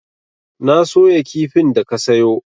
Na soya kifin da ka sayo.